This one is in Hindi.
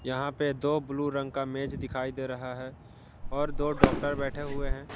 यहां पे दो ब्लू रंग का मेज दिखाई दे रहा है और दो डॉक्टर बैठे हुए हैं।